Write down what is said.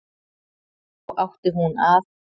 Þá átti hún að